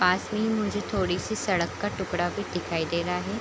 पास ही मुझे थोड़ी-सी सड़क का टुकड़ा भी दिखाई दे रहा है।